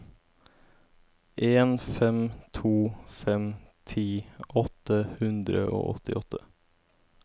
en fem to fem ti åtte hundre og åttiåtte